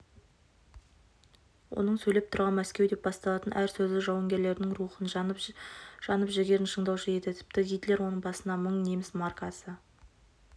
оның сөйлеп тұрған мәскеу деп басталатын әр сөзі жауынгерлердің рухын жанып жігерін шыңдаушы еді тіпті гитлер оның басына мың неміс маркасы